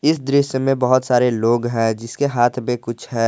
इस दृश्य मे बहुत सारे लोग हैं जिसके हाथ मे कुछ है।